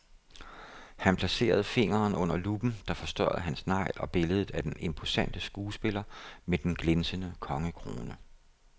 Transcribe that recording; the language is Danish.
Han placerede fingeren under luppen, der forstørrede hans negl og billedet af den imposante skuespiller med den glinsende kongekrone.